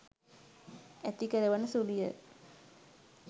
ඇති කරවන සුළුය.